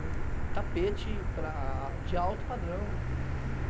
O tapete, para, de alto padrão.